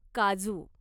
काजू